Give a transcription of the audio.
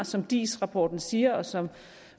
som diis rapporten siger og som